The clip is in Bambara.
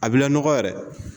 A b'i lanɔgɔ yɛrɛ